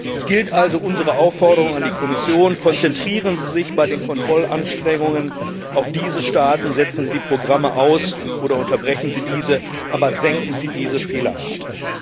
Es gilt also unsere Aufforderung an die Kommission Konzentrieren Sie sich bei den Kontrollanstrengungen auf diese Staaten. Setzen Sie die Programme aus oder unterbrechen Sie diese, aber senken Sie diese Fehlerrate!